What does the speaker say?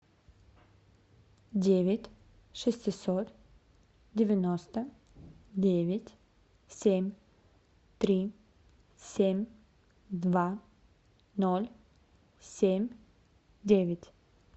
девять шестьсот девяносто девять семь три семь два ноль семь девять